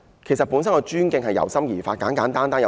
其實，尊敬應由心而發。